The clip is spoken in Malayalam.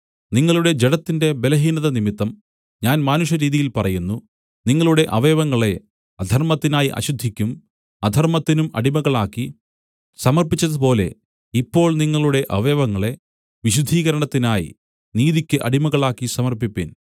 നിങ്ങളുടെ ജഡത്തിന്റെ ബലഹീനതനിമിത്തം ഞാൻ മാനുഷരീതിയിൽ പറയുന്നു നിങ്ങളുടെ അവയവങ്ങളെ അധർമ്മത്തിനായി അശുദ്ധിക്കും അധർമ്മത്തിനും അടിമകളാക്കി സമർപ്പിച്ചതുപോലെ ഇപ്പോൾ നിങ്ങളുടെ അവയവങ്ങളെ വിശുദ്ധീകരണത്തിനായി നീതിയ്ക്ക് അടിമകളാക്കി സമർപ്പിപ്പിൻ